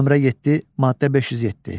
Nömrə 7, maddə 507.